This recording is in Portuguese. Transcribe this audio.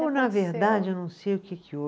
Eu, na verdade, eu não sei o que que houve.